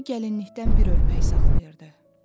Ana gəlinlikdən bir örpək saxlayırdı.